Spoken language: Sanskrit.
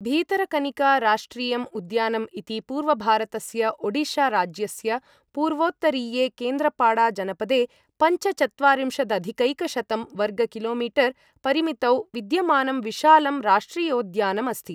भीतरकनिका राष्ट्रियम् उद्यानम् इति पूर्वभारतस्य ओडिशाराज्यस्य पूर्वोत्तरीये केन्द्रपाड़ाजनपदे पञ्च चत्वारिन्शदधिकैकशतम् वर्ग किलोमीटर् परिमितौ विद्यमानं विशालं राष्ट्रियोद्यानम् अस्ति।